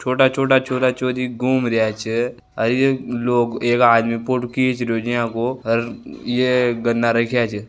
छोटे छोटे छोरा छोरी घूम रहो छे लोग एक आदमी फोटो खीच रायो छे झाको और ये गन्ना रखा छ।